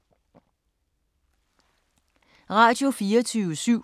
Radio24syv